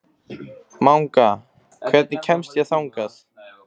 Manga, hvernig kemst ég þangað?